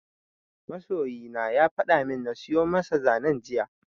Masoyina ya fada min na siyo masa zanen jiya